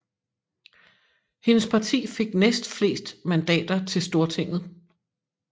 Hendes parti fik næstflest mandater til Stortinget